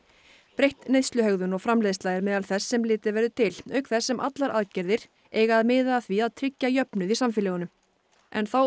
breytt neysluhegðun og framleiðsla er meðal þess sem litið verður til auk þess sem allar aðgerðir eiga að miða að því að tryggja jöfnuð í samfélögunum en þá